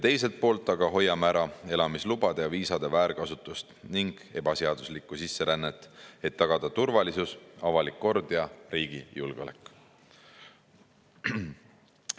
Teiselt poolt aga hoiame ära elamislubade ja viisade väärkasutust ning ebaseaduslikku sisserännet, et tagada turvalisus, avalik kord ja riigi julgeolek.